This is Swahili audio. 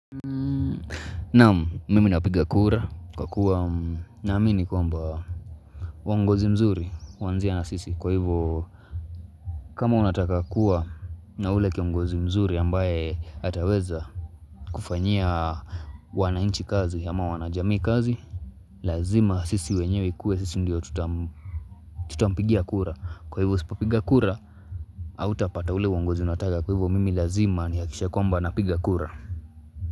Naam mimi napiga kura kwa kuwa naamini kwamba uongozi mzuri huanzia na sisi kwa hivyo kama unataka kuwa na yule kiongozi mzuri ambae ataweza kufanyia wananchi kazi ama wanajamii kazi. Lazima sisi wenyewe kuwe sisi ndiyo tutampigia kura kwa hivyo usipopiga kura hautapata ule uongozi unataka kwa hivyo mimi lazima nihakikishe kwamba napiga kura.